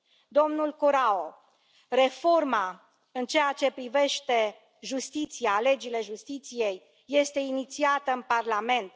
Domnule Corrao, reforma în ceea ce privește justiția, legile justiției este inițiată în Parlament.